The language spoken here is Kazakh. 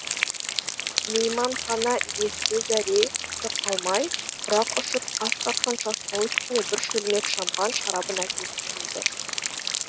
мейманхана иесі зәре құты қалмай құрақ ұшып қас қаққанша стол үстіне бір шөлмек шампан шарабын әкеліп қойды